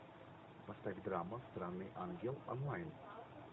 поставь драма странный ангел онлайн